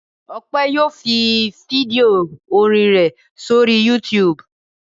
Ọpẹ́ yóò fi fídíò orin rẹ̀ sórí YouTube.